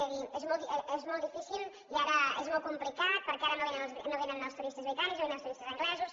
de dir és molt difícil i ara és molt complicat perquè ara no vénen els turistes britànics no vénen els turistes anglesos